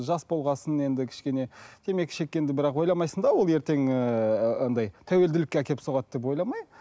жас болғасын енді кішкене темекі шеккенді бірақ ойламайсың да ол ертең ііі андай тәуелділікке әкеп соғады деп ойламай